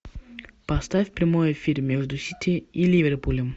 поставь прямой эфир между сити и ливерпулем